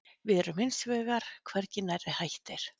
Við erum hins vegar hvergi nærri hættir